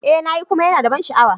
Eh na yi kuma yana da ban sha'awa.